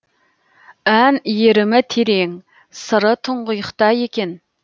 ән иірімі терең сыры тұңғиықта екен